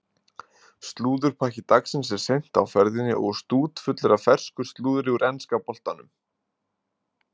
Slúðurpakki dagsins er seint á ferðinni og stútfullur af fersku slúðri úr enska boltanum.